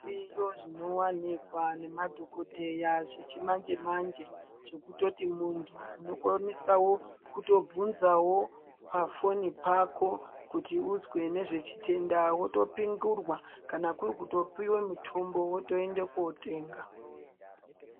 Zviriyo zvinowanikwa nemadhokoteya zvechimanje manje zvekutoti muntu unokwanisawo kubvunzawo pafoni pako kuti uzwe nezvechitenda wotopingurwa ,kana kuri kutopiwe mutombo wotoenda kundotenga .